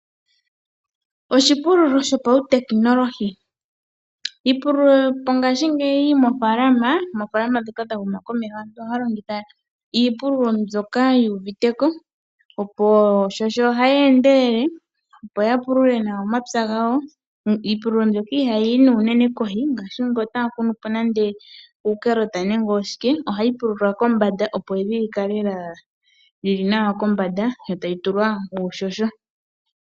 Oshipululo shopautekinolohi. Iipululo yongaashingeyi moofaalama ndhoka dha huma komeho, aantu ohaya longitha iipululo mbyoka yoshinanena, oshoka ohayi endelele, opo ya pulule omapya gawo. Iipululo mbyoka ohayi yi unene kohi unene ngele otapu kunwa uunawamundesha, ohayi pulula kombanda, opo evi li kale li li nawa kombanda. Yo tayi tulwa uuhoho.